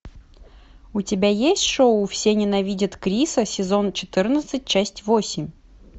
у тебя есть шоу все ненавидят криса сезон четырнадцать часть восемь